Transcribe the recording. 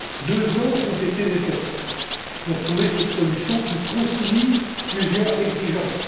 Deux ans ont été nécessaires pour trouver cette solution qui concilie plusieurs exigences.